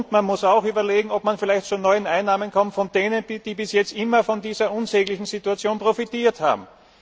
Man muss auch überlegen, ob man vielleicht zu neuen Einnahmen kommt, und zwar von denen, die bisher immer von dieser unsäglichen Situation profitiert haben.